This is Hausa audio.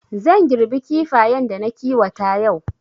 Zan girbi Kifayen da na kiwata yau